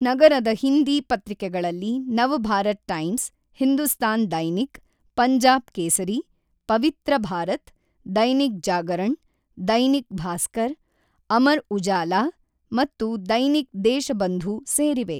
ನಗರದ ಹಿಂದಿ ಪತ್ರಿಕೆಗಳಲ್ಲಿ ನವ್‌ಭಾರತ್ ಟೈಮ್ಸ್, ಹಿಂದೂಸ್ತಾನ್ ದೈನಿಕ್, ಪಂಜಾಬ್ ಕೇಸರೀ, ಪವಿತ್ರ ಭಾರತ್, ದೈನಿಕ್ ಜಾಗರಣ್, ದೈನಿಕ್ ಭಾಸ್ಕರ್, ಅಮರ್ ಉಜಾಲಾ ಮತ್ತು ದೈನಿಕ್ ದೇಶಬಂಧು ಸೇರಿವೆ.